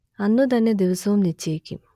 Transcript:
അന്നുതന്നെ ദിവസവും നിശ്ചയിക്കും